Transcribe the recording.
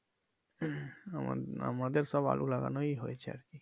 আমার আমাদের সব আলু লাগানোই হয়েছে।